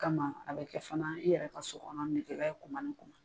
O kama a be kɛ fana i yɛrɛ ka so kɔnɔ min tuma min kɔnɔ.